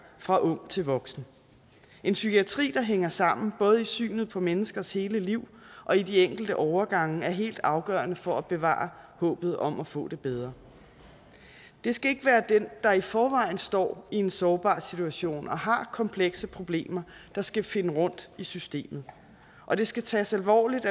fra ung til voksen en psykiatri der hænger sammen både i synet på menneskers hele liv og i de enkelte overgange er helt afgørende for at bevare håbet om at få det bedre det skal ikke være den der i forvejen står i en sårbar situation og har komplekse problemer der skal finde rundt i systemet og det skal tages alvorligt